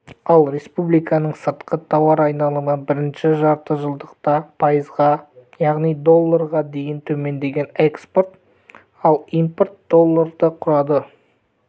ал республиканың сыртқы тауар айналымы бірінші жартыжылдықта пайызға яғни долларға дейін төмендеген экспорт ал импорт долларды құрады